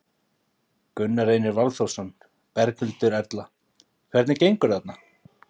Gunnar Reynir Valþórsson: Berghildur Erla, hvernig gengur þarna?